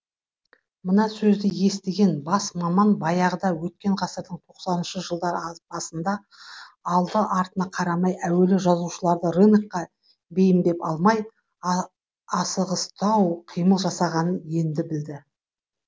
мына сөзді естіген бас маман баяғыда өткен ғасырдың тоқсаныншы жылдар басында алды артына қарамай әуелі жазушыларды рынокқа бейімдеп алмай асығыстау қимыл жасағанын енді білді